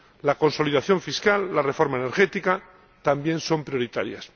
La consolidación fiscal, la reforma energética, también son prioritarias.